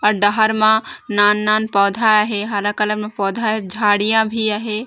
औ डहर म नान-नान पौधा अहें हरा कलर में पौधा हे झाड़िया भी आहें।